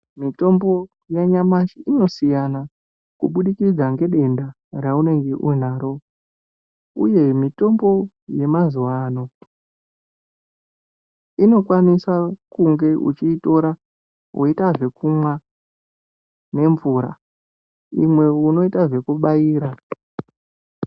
Mitombo yanyamashi inosiyana kubudikidza ngedenda raunenge uinaro uye mitombo yemazuwa ano inokwanisa kunge uchiitora woita zvekumwa nemvura imwe unoita zvekubaira.